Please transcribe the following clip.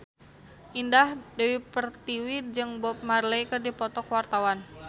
Indah Dewi Pertiwi jeung Bob Marley keur dipoto ku wartawan